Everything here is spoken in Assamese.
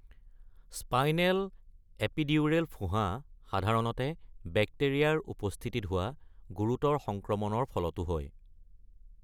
স্পাইনেল এপিডিউৰেল ফোঁহা সাধাৰণতে বেক্টেৰিয়াৰ উপস্থিতিত হোৱা গুৰুতৰ সংক্ৰমণৰ ফলতো হয়।